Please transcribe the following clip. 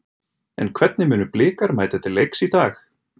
En hvernig munu Blikar mæta til leiks í dag?